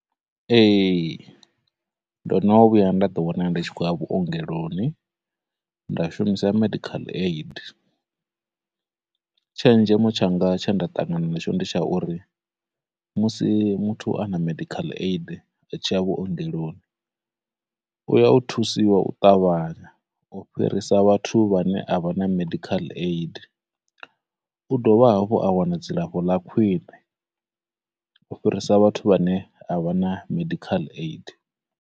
Ee, ndo no vhuya nda ḓi wana ndi tshi khou ya vhuongeloni, nda shumisa medical aid, tshenzhemo tshanga tshe nda ṱangana na tsho ndi tsha uri musi muthu a na medical aid a tshi ya vhuongeloni, u ya u thusiwa u ṱavhanya u fhirisa vhathu vhane avhana medical aid, u dovha hafhu a wana dzilafho ḽa khwine ufhirisa vhathu vhane a vha na medical aid.